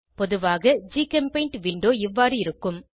பொதுவான ஜிகெம்பெய்ண்ட் விண்டோ இவ்வாறு இருக்கும்